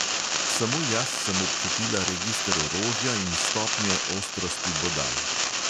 Samo jaz sem občutila register orožja in stopnje ostrosti bodal.